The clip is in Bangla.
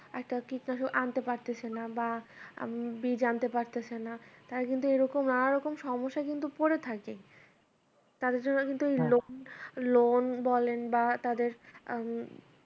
একটা কীটনাশক আনতে পারতেছে না বা উম বীজ আনতে পারতেছে না তারা কিন্তু এরকম নানারকম সমস্যায় কিন্তু পড়ে থাকে তাদের জন্যও কিন্তু এই ~ loan বলেন বা তাদের উম